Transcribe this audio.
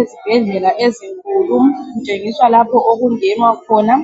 Ezibhedlela ezinkulu kutshengiswa lapho okungenwa khona